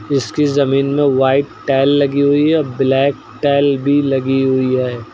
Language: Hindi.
इसकी जमीन में व्हाइट टाइल लगी हुई है और ब्लैक टाइल भी लगी हुई है।